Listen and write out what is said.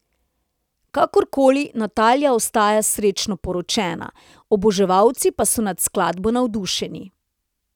Kakorkoli, Natalija ostaja srečno poročena, oboževalci pa so nad skladbo navdušeni.